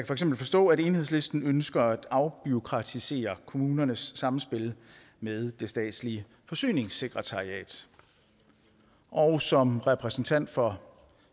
for eksempel forstå at enhedslisten ønsker at afbureaukratisere kommunernes samspil med det statslige forsyningssekretariat og som repræsentant for